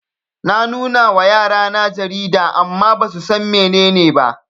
Na nunawa yarana jarida amma basusan mene ne ba